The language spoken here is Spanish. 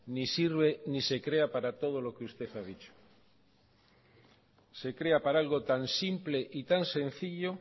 ni sirve ni se crea para todo lo que usted ha dicho se crea para algo tan simple y tan sencillo